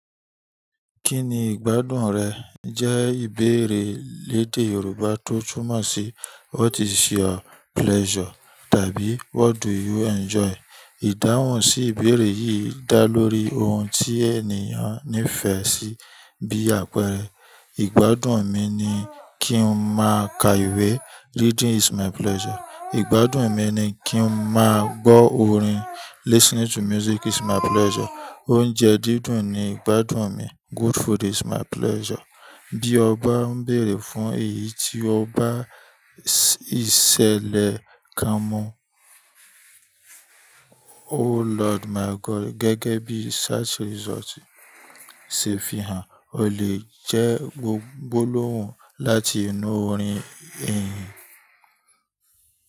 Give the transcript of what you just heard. Kí ni ìgbádùn rẹ? Jẹ́ ìbéèrè lédè Yorùbá tó túmọ̀ sí what is your pleasure? Tàbí what do you enjoy? Ìdáhùn sí ìbéèrè yìí dá lórí ohun tí ènìyàn nífẹ̀ẹ́ sí bí àpẹẹrẹ "Ìgbádùn mi ni kí n má a ka ìwé" Reading is my pleasure. "Ìgbádùn mi ni kí n má a gbọ́ orin" Listening to music is my pleasure. "Oúnjẹ dídùn ni ìgbádùn mi" Good food is my pleasure. Bí ọba ń béèrè fún èyí tí ọba ìṣẹ̀lẹ̀ kan mú. Oh Lord my God gẹ́gẹ́ bí Search result ṣe fi hàn, o lè jẹ́ gbólóhùn láti inú orin ìhìn.